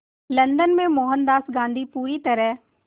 London में मोहनदास गांधी पूरी तरह